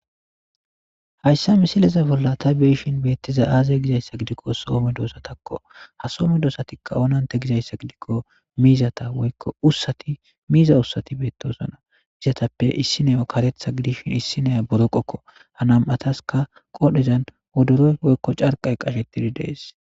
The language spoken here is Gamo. Hayssa misileza bolla ta beyishin beettiza aaze gizayssa gidikko soome doosatakko ha soome doosatikka onante gizayssa gidikko miizata woykko ussati miiza ussati beettosona gizatappe issineyo katetha gidishin issineya boro qokko ha nam'ataska qodhezan odoroy woykko carqay qashettidi dees.